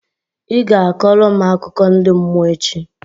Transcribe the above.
Ị ga-akọrọ m akụkọ ndi mmụọ echi!